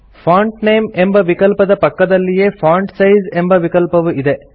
font name ಎಂಬ ವಿಕಲ್ಪದ ಪಕ್ಕದಲ್ಲಿಯೇ ಫಾಂಟ್ ಸೈಜ್ ಎಂಬ ವಿಕಲ್ಪವು ಇದೆ